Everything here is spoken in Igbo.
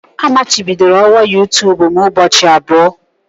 Amachibidoro ọwa youtube m ụbọchị abụọ.